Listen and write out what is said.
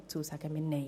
Dazu sagen wir Nein.